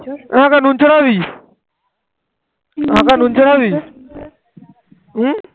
হম